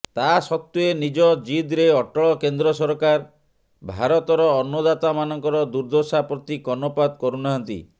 ତା ସତ୍ୱେ ନିଜ ଜିଦ୍ରେ ଅଟଳ କେନ୍ଦ୍ର ସରକାର ଭାରତର ଅନ୍ନଦାତାମାନଙ୍କର ଦୁର୍ଦ୍ଦଶା ପ୍ରତି କର୍ଣ୍ଣପାତ କରୁନାହାନ୍ତି